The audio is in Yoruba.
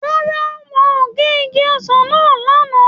Rárá, wọn ò gé igi ọsàn náà lánàá